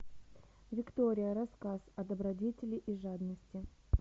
виктория рассказ о добродетели и жадности